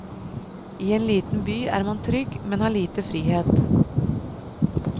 I en liten by er man trygg, men har lite frihet.